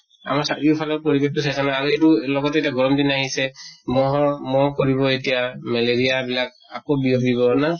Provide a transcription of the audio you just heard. আমাৰ চাৰিও ফালৰ পৰিবেশ টো চাইছা না আৰু এইটো লগতে এটা গৰম দিন আহিছে, মহৰ মহ পৰিব এতিয়া। মেলেৰিয়া বিলাক আকৌ বিয়পিব না?